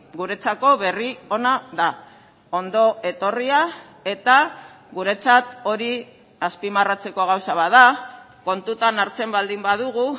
guretzako berri ona da ondo etorria eta guretzat hori azpimarratzeko gauza bat da kontutan hartzen baldin badugu